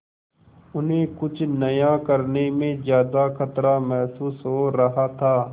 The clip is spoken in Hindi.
उन्हें कुछ नया करने में ज्यादा खतरा महसूस हो रहा था